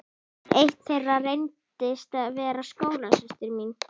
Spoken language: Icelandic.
Eitt þeirra reyndist vera skólasystir mín.